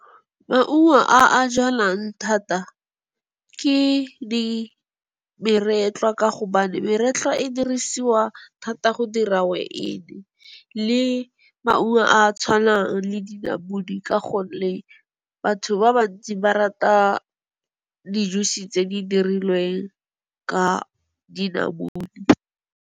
Maungo a a jalwang thata ke meretlwa ka gobane, meretlwa e dirisiwa thata go dira weini. Le maungo a a tshwanang le dinamune ka gonne batho ba bantsi ba rata di-juice tse di dirilweng ka dinamune.